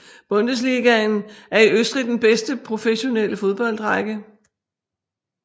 Bundesligaen er i Østrig den bedste professionelle fodboldrække